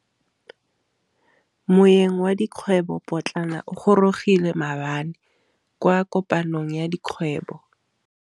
Moêng wa dikgwêbô pôtlana o gorogile maabane kwa kopanong ya dikgwêbô.